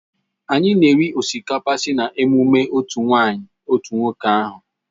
Anyị na-eri osikapa sị na emume otu nwanyị otu nwoke ahụ.